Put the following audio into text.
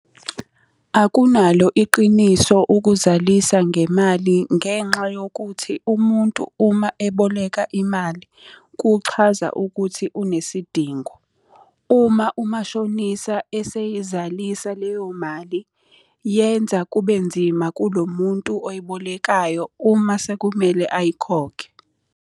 Akunalo iqiniso ukuzalisa ngemali ngenxa yokuthi umuntu uma eboleka imali, kuchaza ukuthi unesidingo. Uma umashonisa eseyizalisa leyo mali, yenza kube nzima kulo muntu oyibolekayo uma sekumele ayikhokhe.